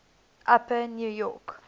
upper new york